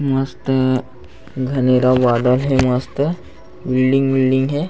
मस्त घने ला गार्डन हे मस्त बिल्डिंग विल्डिंग हे।